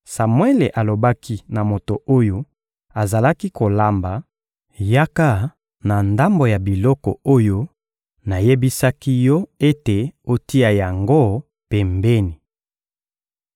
Samuele alobaki na moto oyo azalaki kolamba: «Yaka na ndambo ya biloko oyo nayebisaki yo ete otia yango pembeni.»